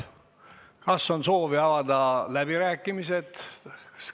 Kas on soovi pidada läbirääkimisi?